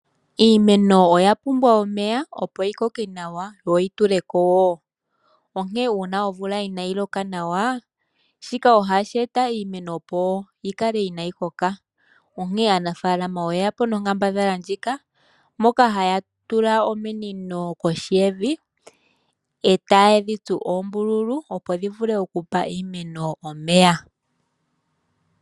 Iimeno oyapumbwa omeya opo yikoke nawa yo yituleko iiyimati . Ngele omvula inayi loka nawa ,shika ohashi eta iimeno mbyika kaayi l koke nenge pukoke owala iishona. Onkene aanafaalama oye yapo nomukalo nguka gokutula ominino kohi yiilwa . Ohadhi tsuwa oombululu opo dhiwape okugandja omeya kiimeno.